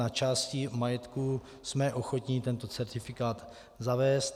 Na části majetku jsme ochotni tento certifikát zavést.